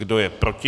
Kdo je proti?